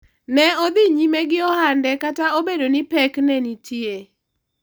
ne odhi nyime gi ohande kata obedo ni pek ne nitie